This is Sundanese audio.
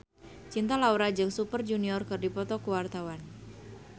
Cinta Laura jeung Super Junior keur dipoto ku wartawan